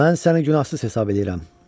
Mən səni günahsız hesab eləyirəm.